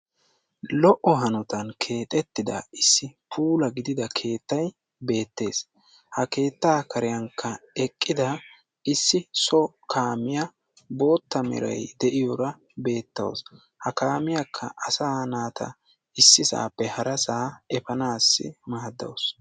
Lo'o hanottan keexetida issi puulaa gidida keettay beetes. Ha keetta kariyankka eqqida issi so kaamiya bootta meray de'iyora bettawusu. Ha kaamiyaka asaa naata issisape harasa efanaasi maaddawusu.